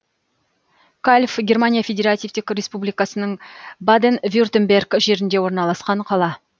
кальв германия федеративтік республикасының баден вюртемберг жерінде орналасқан қала